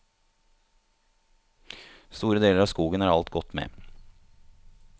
Store deler av skogen er alt gått med.